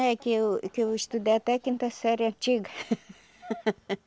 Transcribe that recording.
É, que eu que eu estudei até quinta série antiga.